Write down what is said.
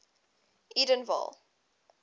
edenville